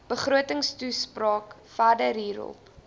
begrotingstoespraak verder hierop